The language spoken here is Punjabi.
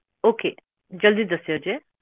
ਓਕੇ ਜਲਦੀ ਦਸਿਓ ਜੇ